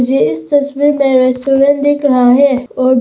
मुझे इस तस्वीर में रेस्टोरेंट दिख रहा है और--